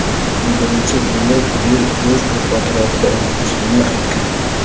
U birinchi bo‘lib yer o‘z o‘qi atrofida aylanishini aytgan.